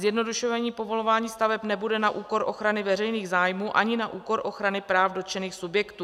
Zjednodušení povolování staveb nebude na úkor ochrany veřejných zájmů ani na úkor ochrany práv dotčených subjektů.